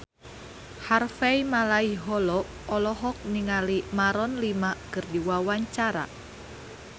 Harvey Malaiholo olohok ningali Maroon 5 keur diwawancara